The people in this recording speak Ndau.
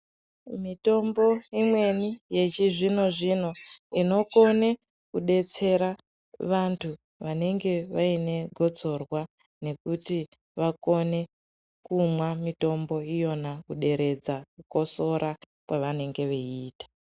Mitombo imweni yechizvinozvino inokone kudetsera vantu vanenge vainegosorwa nekuti vakone kumwa mitombo iyona kuderedza kukotsora kwavanenge veita.